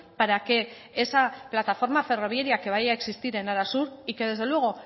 para que esa plataforma ferroviaria que vaya a existir en arasur y que desde luego